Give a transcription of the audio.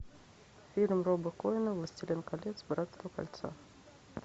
фильм роба коэна властелин колец братство кольца